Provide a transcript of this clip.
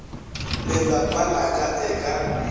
lelapa la ka e ka